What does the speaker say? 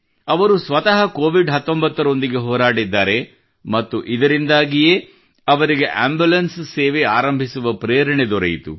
ಅವರು ಸ್ವತಃ ಕೋವಿಡ್ 19 ರೊಂದಿಗೆ ಹೋರಾಡಿದ್ದಾರೆ ಮತ್ತು ಇದರಿಂದಾಗಿಯೇ ಅವರಿಗೆ ಆಂಬುಲೆನ್ಸ್ ಸೇವೆ ಆರಂಭಿಸುವ ಪ್ರೇರಣೆ ದೊರೆಯಿತು